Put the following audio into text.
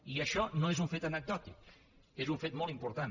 i això no és un fet anecdòtic és un fet molt important